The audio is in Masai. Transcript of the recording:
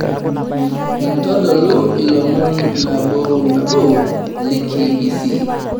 ntodolu ilomon nabo o nabo le k.b.c